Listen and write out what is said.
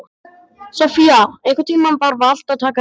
Sofía, einhvern tímann þarf allt að taka enda.